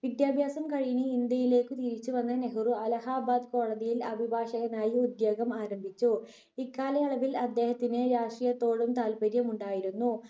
വിദ്യാഭ്യാസം കഴിഞ്ഞു ഇന്ത്യയിലേക്കു തിരിച്ചു വന്ന നെഹ്‌റു അല്ലഹബാദ് കോടതിയിൽ അഭിഭാഷകനായി ഉദ്യോഗം ആരംഭിച്ചു. ഇക്കാലയളവിൽ അദ്ദേഹത്തിന് രാഷ്ട്രീയത്തോടും താല്പര്യം ഉണ്ടായിരുന്നു.